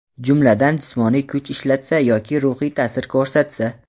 jumladan jismoniy kuch ishlatsa yoki ruhiy taʼsir ko‘rsatsa;.